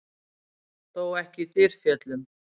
Þó ekki í Dyrfjöllum.